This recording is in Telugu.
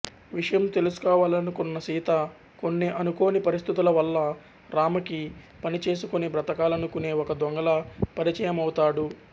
విషయం తెలుసుకోవాలనుకున్న సీత కొన్ని అనుకోని పరిస్థితుల వల్ల రామకి పని చేసుకుని బ్రతకాలనుకునే ఒక దొంగలా పరిచయమవుతాడు